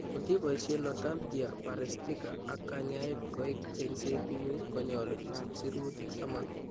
Kotiboisien 'notalgia paresthica ak kanyaet' koik cheng'seet ng'ung' konyolu isch siruutik taman